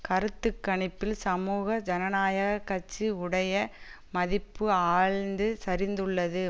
கருத்து கணிப்பில் சமூக ஜனநாயக கட்சி உடைய மதிப்பு ஆழ்ந்து சரிந்துள்ளது